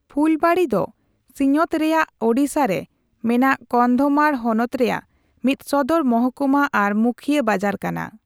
ᱯᱷᱩᱞᱵᱟᱬᱤ ᱫᱚ ᱥᱤᱧᱚᱛ ᱨᱮᱭᱟᱜ ᱳᱰᱤᱥᱟ ᱨᱮ ᱢᱮᱱᱟᱜ ᱠᱚᱱᱫᱷᱚᱢᱟᱲ ᱦᱚᱱᱚᱛ ᱨᱮᱭᱟᱜ ᱢᱤᱫ ᱥᱚᱫᱚᱨ ᱢᱚᱦᱠᱩᱢᱟ ᱟᱨ ᱢᱩᱠᱷᱤᱭᱟᱹ ᱵᱟᱡᱟᱨ ᱠᱟᱱᱟ ᱾